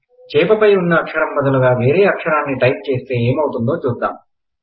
చేప పై ఉన్న అక్షరం బదులుగా వేరే అక్షరాన్ని టైప్ చేస్తే ఎమౌతుందో చూద్దాం